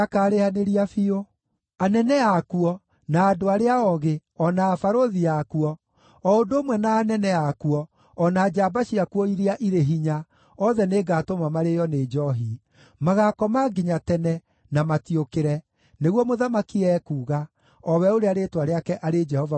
Anene akuo, na andũ arĩa ogĩ, o na abarũthi akuo, o ũndũ ũmwe na anene akuo, o na njamba ciakuo iria irĩ hinya, othe nĩngatũma marĩĩo nĩ njoohi; magaakoma nginya tene, na matiũkĩre,” nĩguo Mũthamaki ekuuga, o we ũrĩa rĩĩtwa rĩake arĩ Jehova Mwene-Hinya-Wothe.